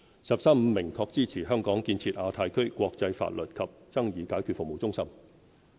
"十三五"明確支持香港建設亞太區國際法律及爭議解決服務中心。